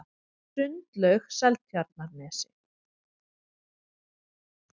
Sundlaug Seltjarnarnesi